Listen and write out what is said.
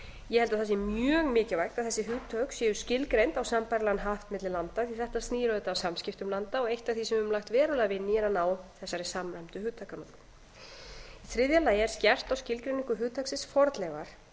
ég held að það sé mjög mikilvægt að þessi hugtök séu skilgreind á sambærilegan hátt milli landa því að þetta skýr auðvitað að samskiptum landa og eitt af því sem við höfum langt verulega vinnu í er að ná þessari samræmdu hugtakanotkun þriðja skerpt er á skilgreiningu hugtaksins fornleifar og